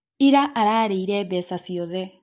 Ira ararĩirwo mbeca ciothe